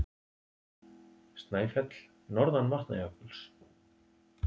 Snæfell, norðan Vatnajökuls.